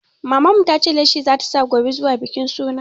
Maman mu ta ce leshi za ta sa gobe zuwa bikin suna.